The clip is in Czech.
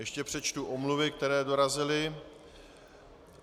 Ještě přečtu omluvy, které dorazily.